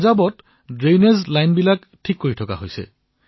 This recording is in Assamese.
পাঞ্জাৱত নৰ্দমাৰ লাইনবোৰ ঠিক কৰা হৈছে